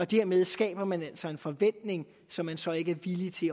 dermed skaber man altså en forventning som man så ikke er villig til